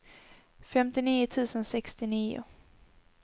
femtionio tusen sextionio